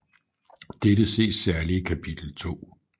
Dette ses særligt i kapitel 2